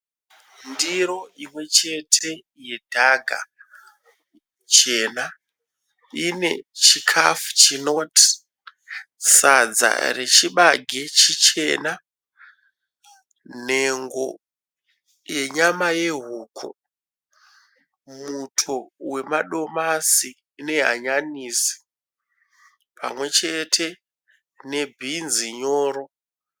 Ndiro imwe chete yedhaga jena. Ine chikafu chinoti sadza rechibage chichena, nhengo yenyama yehuku, muto wemadomasi nehanyanisi pamwe chete nebhinzi nyoro.